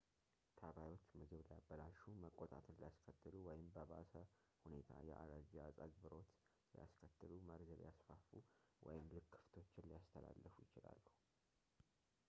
ተባዮች ምግብ ሊያበላሹ መቆጣትን ሊያስከትሉ ወይም በባሰ ሁኔታ የአለርጂ አፀግብሮት ሊያስከትሉ መርዝ ሊያስፋፉ ወይም ልክፈቶችን ሊያስተላልፉ ይችላሉ